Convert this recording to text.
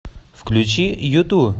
включи юту